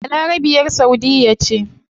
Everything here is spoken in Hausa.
Balarabiya saudiyya ce